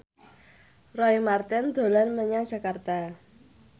Roy Marten dolan menyang Jakarta